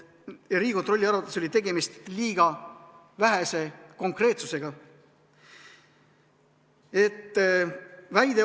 Riigikontrolli arvates oli tegemist liiga vähese konkreetsusega.